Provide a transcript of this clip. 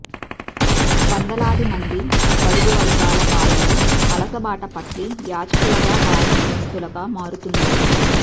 వందలాది మంది బడుగు వర్గాల బాలలు వలసబాట పట్టి యాచకులుగా బాలనేరస్తులుగా మారుతున్నారు